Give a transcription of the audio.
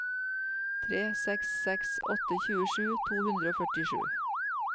tre seks seks åtte tjuesju to hundre og førtisju